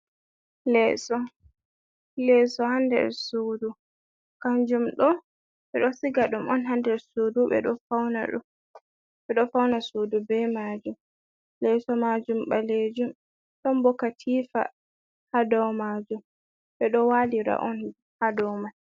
Leeso, leeso ha nder sudu kanjum ɗo ɓeɗo siga ɗum on ha nder sudu ɓeɗo fauna ɗum ɓeɗo fauna sudu be majum, leeso majum ɓalejum to bo katifa ha dou majum ɓeɗo walira on ha dou man.